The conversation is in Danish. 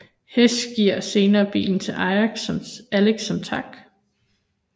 Hess giver senere bilen til Alex som tak